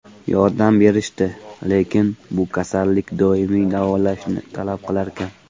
Yordam berishdi, lekin bu kasallik doimiy davolishni talab qilarkan.